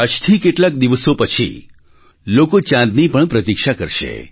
આજથી કેટલાક દિવસો પછી લોકો ચાંદની પણ પ્રતીક્ષા કરશે